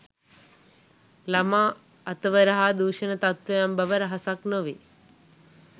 ළමා අතවර හා දූෂණ තත්වයන් බව රහසක් නොවේ